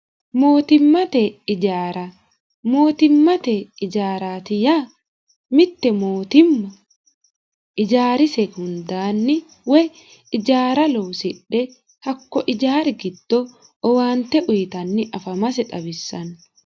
mootimmate ijaara mootimmate ijaaraati ya mitte mootimma ijaarise hundaanni woy ijaara loosidhe hakko ijaari gitdo owaante uyitanni afamase xawissanno